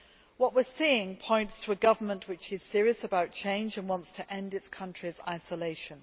What we are seeing points to a government which is serious about change and wants to end its country's isolation.